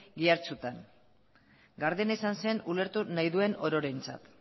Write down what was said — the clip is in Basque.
ihartxotan gardena izan zen ulertu nahi duen ororentzat